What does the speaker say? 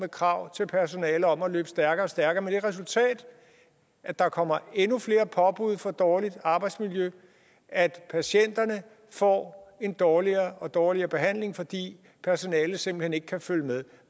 kravene til personalet om at løbe stærkere og stærkere med det resultat at der kommer endnu flere påbud for dårligt arbejdsmiljø at patienterne får en dårligere og dårligere behandling fordi personalet simpelt hen ikke kan følge med